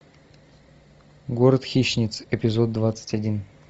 город хищниц эпизод двадцать один